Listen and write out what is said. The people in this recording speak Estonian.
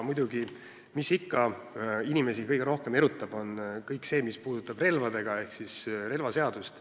Muidugi erutab inimesi kõige rohkem kõik see, mis puudutab relvi ehk siis relvaseadust.